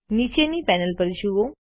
નીચેની પેનલ પર જુઓ